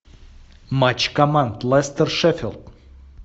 матч команд лестер шеффилд